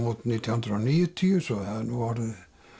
út nítján hundruð og níutíu svo það er nú orðið